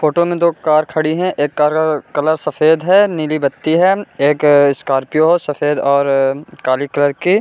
Photo में दो car खड़ी है एक कार का कलर सफेद है नीली बत्ती है एक स्कॉर्पियो सफेद और काली कलर की।